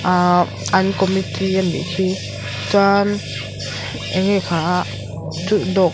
an committee a nih hi chuan eng nge kha chu dawh--